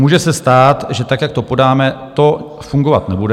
Může se stát, že tak, jak to podáme, to fungovat nebude.